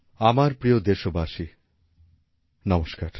আমার প্রিয় দেশবাসী নমস্কার